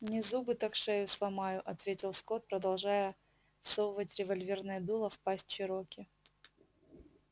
не зубы так шею сломаю ответил скотт продолжая всовывать револьверное дуло в пасть чероки